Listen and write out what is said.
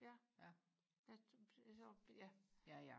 ja ja så ja